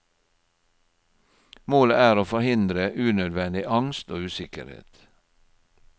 Målet er å forhindre unødvendig angst og usikkerhet.